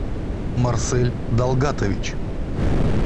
марсель далгатович